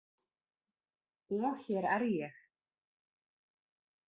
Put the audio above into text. Og hér er ég.